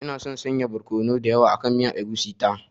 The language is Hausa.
Ina son sanya barkono mai yawa akan miyan egusi ta.